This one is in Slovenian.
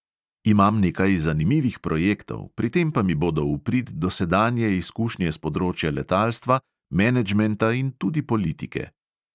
Imam nekaj zanimivih projektov, pri tem pa mi bodo v prid dosedanje izkušnje s področja letalstva, menedžmenta in tudi politike.